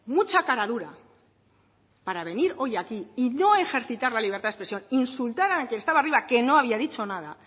mucha cara dura para venir hoy aquí y no ejercitar la libertad de expresión insultar a la que estaba arriba que no había dicho nada